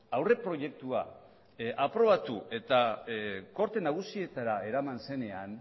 aurreproiektua aprobatu eta gorte nagusietara eraman zenean